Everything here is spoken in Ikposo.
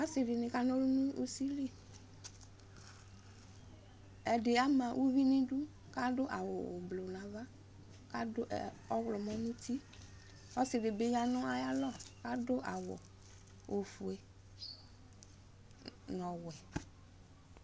Asidini kanɔlʋ nʋ usiliƐdi ama uvi nidu, kadʋ awu ublu nava, kadʋ ɔɣlɔmɔ nutiƆsidibi ɔya nayalɔ, kadʋ awu ofue, nɔwɛ